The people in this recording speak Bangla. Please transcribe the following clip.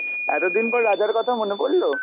এতদিন পর রাজার কথা মনে পরল?